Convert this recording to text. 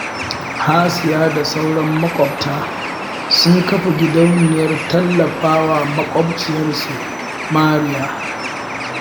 Hasiya da sauran maƙwabta sun kafa gidauniyar tallafa wa maƙwabciyarsu Mariya